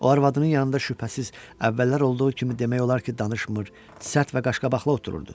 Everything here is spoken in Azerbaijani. O arvadının yanında şübhəsiz əvvəllər olduğu kimi demək olar ki, danışmır, sərt və qaşqabaqlı otururdu.